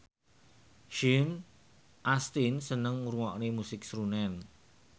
Sean Astin seneng ngrungokne musik srunen